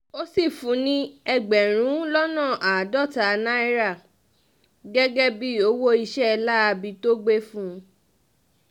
ó sì fún un ní ẹgbẹ̀rún lọ́nà àádọ́ta náírà gẹ́gẹ́ bíi owó iṣẹ́ láabi tó gbé fún un